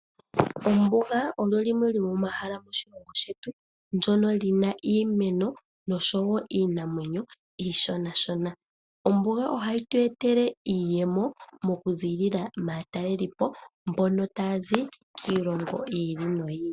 Ombuga olyo limwe lyo momahala moshilongo shetu lyono lina iimeno oshowo iinamwenyo iishona shona. Ombuga ohayi twetele iiyemo mo kuzilila matalelipo mbono tazi kilongo yili no yili .